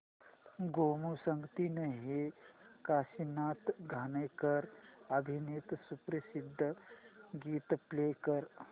गोमू संगतीने हे काशीनाथ घाणेकर अभिनीत सुप्रसिद्ध गीत प्ले कर